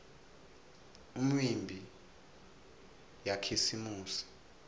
imiumbi yakhisimusi